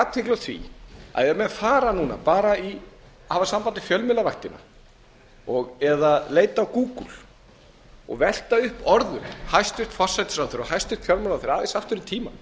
athygli á því að ef menn fara núna hafa samband við fjölmiðlavaktina eða leita gúgúl og velta upp orðum hæstvirts forsætisráðherra og hæstvirtur fjármálaráðherra þrátt fyrir tímann